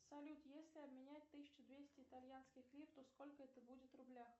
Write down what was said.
салют если обменять тысячу двести итальянских лир то сколько это будет в рублях